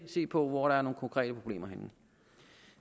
se på hvor der er nogle konkrete problemer henne